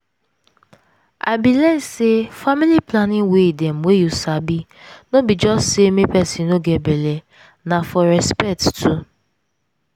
i bin learn say family planning way dem wey you sabi no be just say make peson no get belle na for respect too